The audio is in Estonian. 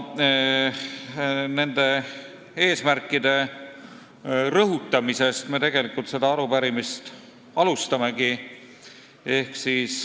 Nende eesmärkide rõhutamisest me seda arupärimist tegelikult alustamegi.